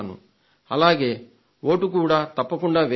అలాగే వోటు కూడా తప్పకుండా వెయ్యాలి